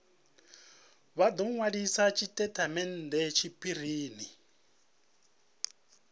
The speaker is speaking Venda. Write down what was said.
vha do nwalisa tshitatamennde tshiphirini